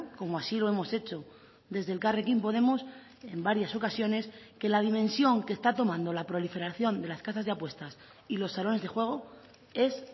como así lo hemos hecho desde elkarrekin podemos en varias ocasiones que la dimensión que está tomando la proliferación de las casas de apuestas y los salones de juego es